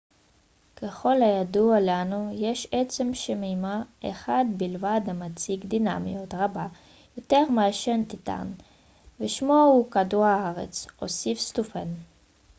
ככל הידוע לנו יש עצם שמימי אחד בלבד המציג דינמיות רבה יותר מאשר טיטאן ושמו הוא כדור הארץ הוסיף סטופאן